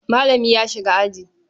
Malami ya shiga aji.